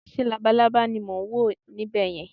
ṣe labalábá ni mo n wo ni ibè yẹn